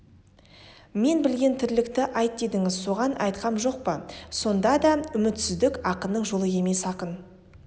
мен білген тірлікті айт дедіңіз соған айтқам жоқ па сонда да үмітсіздік ақынның жолы емес ақын